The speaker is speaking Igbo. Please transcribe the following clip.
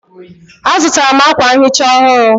Azụtara m akwa nhicha ọhụrụ